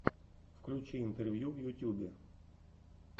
включи интервью в ютьюбе